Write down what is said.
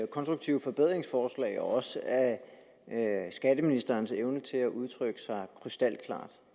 konstruktive forbedringsforslag også af skatteministerens evne til at udtrykke sig krystalklart